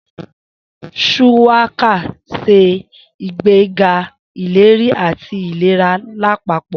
Shuwaka ń ṣe ìgbéga ìlera àti ìlera lápapọ̀.